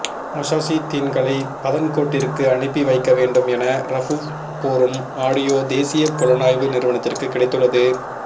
முஜாஹிதீன்களை பதன்கோட்டிற்கு அனுப்பி வைக்க வேண்டும் என ரவூஃப் கூறும் ஆடியோ தேசிய புலனாய்வு நிறுவனத்திற்கு கிடைத்துள்ளது